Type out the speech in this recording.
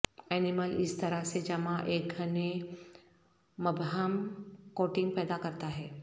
animal اس طرح سے جمع ایک گھنے مبہم کوٹنگ پیدا کرتا ہے